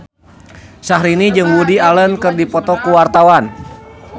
Syahrini jeung Woody Allen keur dipoto ku wartawan